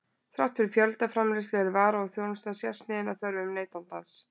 Þrátt fyrir fjöldaframleiðslu er vara og þjónusta sérsniðin að þörfum neytandans.